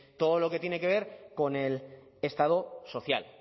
todo lo que tiene con el estado social